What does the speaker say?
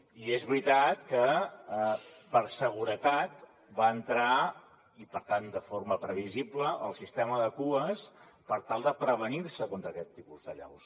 i és veritat que per seguretat va entrar i per tant de forma previsible el sistema de cues per tal de prevenir se contra aquest tipus d’allaus